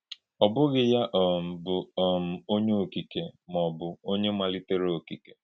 Ọ bùghì yá um bụ̀ um Ònyé Ọ́kìkè mà ọ́bụ̀ Ònyé Malítèrè Ọ́kìkè.